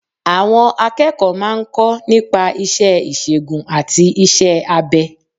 Àwọn akẹ́kọ̀ọ́ má a ń kọ́ nípa isẹ́ ìsègùn àti isẹ́ abẹ